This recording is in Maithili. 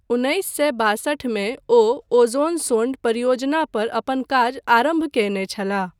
उन्नैस सए बासठ मे ओ ओज़ोनसोंड परियोजना पर अपन काज आरम्भ कयने छलाह।